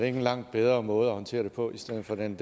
en langt bedre måde at håndtere det på i stedet for den